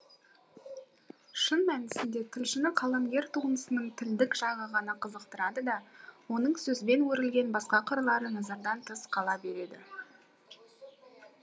шын мәнісінде тілшіні қаламгер туындысының тілдік жағы ғана қызықтырады да оның сөзбен өрілген басқа қырлары назардан тыс қала береді